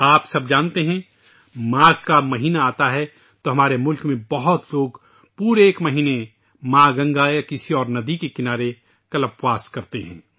آپ سب جانتے ہیں کہ جب ماگھ کا مہینہ آتا ہے تو ہمارے ملک میں بہت سے لوگ پورا ایک مہینہ ماں گنگا یا کسی اورندی کے کنارے کلپ واس کرتے ہیں